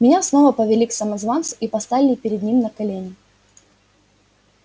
меня снова повели к самозванцу и поставили перед ним на колени